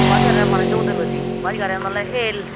bach garianot manuccho udelloide bach garian oley el.